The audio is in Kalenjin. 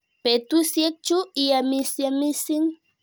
Petusyek chu iamisyei missing'.